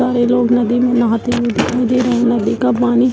सारे लोग नदी में नहाते हुए दिखाई दे रहे हैं नदी का पानी --